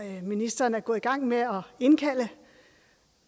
ministeren er gået i gang med at indkalde